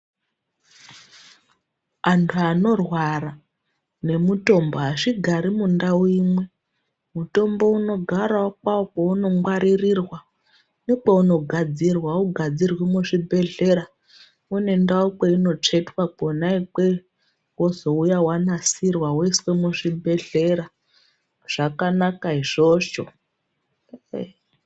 Anthu anorwara nemutombo azvigari mundau imwe, mutombo unogarwo kwawo kwaunongwaririrwa nekwaunogadzirwa augadzirwi muzvibhedhlera kune ndau kweinotsvetwa kwona ikweyo wozouya wanasirwa woiswe muzvibhedhlera. Zvakanaka izvozvo.